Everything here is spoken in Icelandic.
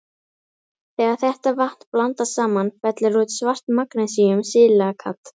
Þegar þetta vatn blandast saman fellur út svart magnesíum-silíkat.